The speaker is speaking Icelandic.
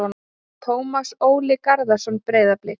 Tómas Óli Garðarsson- Breiðablik